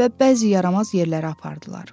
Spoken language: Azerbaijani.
və bəzi yaramaz yerlərə apardılar.